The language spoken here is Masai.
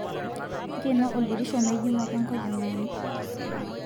nkeno oldirisho mejingu ake enkojangani